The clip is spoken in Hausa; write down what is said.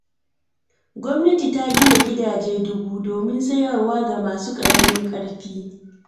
Gwamnati ta gina gidaje dubu, domin sayarwa ga masu ƙaramin ƙarfi.